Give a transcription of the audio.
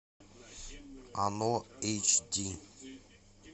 оно эйч ди